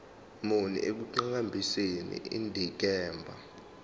muni ekuqhakambiseni indikimba